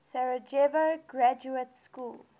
sarajevo graduate school